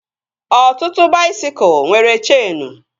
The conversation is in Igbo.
Ọtụtụ baisikụl nwere cheenu